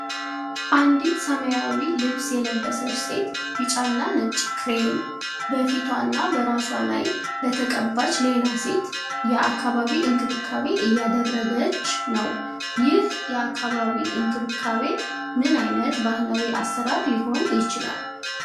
አንዲት ሰማያዊ ልብስ የለበሰች ሴት፣ ቢጫና ነጭ ክሬም በፊቷና በራሷ ላይ ለተቀባች ሌላ ሴት የአካባቢ እንክብካቤ እያደረገች ነው። ይህ የአካባቢ እንክብካቤ ምን ዓይነት ባህላዊ አሰራር ሊሆን ይችላል?